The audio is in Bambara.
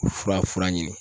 Fura fura ɲini